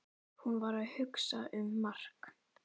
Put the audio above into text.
Hún var að hugsa um Mark.